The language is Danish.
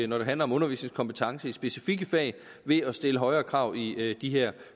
når det handler om undervisningskompetence i specifikke fag ved at stille højere krav i de her